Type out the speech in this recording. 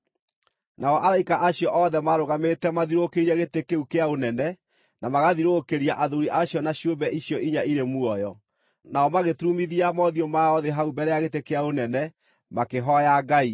Nao araika acio othe maarũgamĩte mathiũrũrũkĩirie gĩtĩ kĩu kĩa ũnene, na magathiũrũrũkĩria athuuri acio na ciũmbe icio inya irĩ muoyo. Nao magĩturumithia mothiũ mao thĩ hau mbere ya gĩtĩ kĩa ũnene, makĩhooya Ngai,